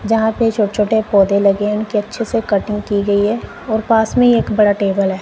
जहां पे छोटे छोटे पौधे लगे हैं उनकी अच्छे से कटिंग की गई है और पास में ही एक बड़ा टेबल है।